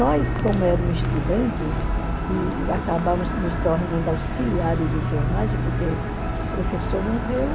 Nós, como éramos estudantes, e acabamos nos tornando auxiliares de enfermagem porque o professor morreu,